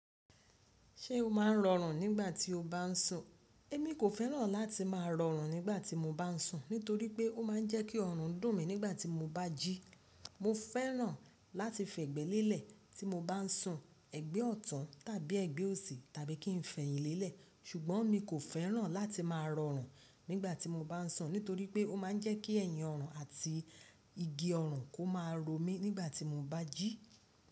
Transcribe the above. Ṣé o máa ń rọrùn nígbà tí o bá ń sùn? Émi kò fẹ́ràn láti máa rọrùn nígbà tí mo bá ń sùn nítorí pé ó máa ń jẹ́ kí ọrùn dùn mí nígbà tí mo bá jí. Mo fẹ́ràn láti fẹ̀gbẹ́ lélẹ̀ tí mo bá ń sùn, ẹ̀gbẹ́ ọ̀tun tàbí ẹ̀gbẹ́ òsì tàbí kí n fẹ̀yìn lélẹ̀. Ṣùgbọ́n mi kò fẹ́ràn láti máa rọrùn nígbà tí mo bá ń sùn nítorí pé ó máa ń jẹ́ kí ẹ̀yìn ọrùn àti igi ọrùn kó máa ro mí nígbà tí mo bá jí.